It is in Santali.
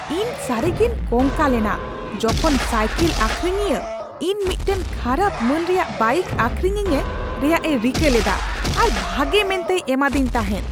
ᱤᱧ ᱥᱟᱹᱨᱤ ᱜᱮᱧ ᱠᱚᱝᱠᱟ ᱞᱮᱱᱟ ᱡᱚᱠᱷᱚᱱ ᱥᱟᱭᱠᱮᱞ ᱟᱠᱷᱨᱤᱧᱤᱭᱟᱹ ᱤᱧ ᱢᱤᱫᱴᱟᱝ ᱠᱷᱟᱨᱟᱯ ᱢᱟᱹᱱ ᱨᱮᱭᱟᱜ ᱵᱟᱭᱤᱠ ᱟᱠᱷᱨᱤᱧᱟᱹᱧ ᱨᱮᱭᱟᱜ ᱮ ᱨᱤᱠᱟᱹ ᱞᱮᱫᱟ ᱟᱨ ᱵᱷᱟᱜᱮ ᱢᱮᱱᱛᱮᱭ ᱮᱢᱟᱫᱮᱧ ᱛᱟᱦᱮᱸᱫ ᱾